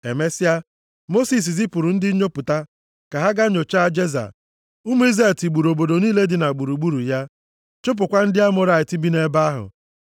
Emesịa, Mosis zipụrụ ndị nnyopụta ka ha ga nyochaa Jeza. Ụmụ Izrel tigburu obodo niile dị gburugburu ya chụpụkwa ndị Amọrait bi nʼebe ahụ.